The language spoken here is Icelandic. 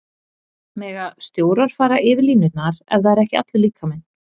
Mega stjórar fara yfir línurnar ef það er ekki allur líkaminn?